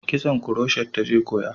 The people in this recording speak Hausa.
Kitson kuroshet ta je koya